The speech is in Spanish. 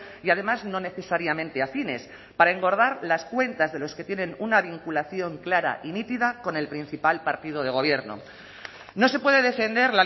y además no necesariamente afines para engordar las cuentas de los que tienen una vinculación clara y nítida con el principal partido de gobierno no se puede defender